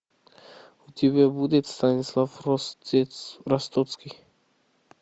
у тебя будет станислав ростоцкий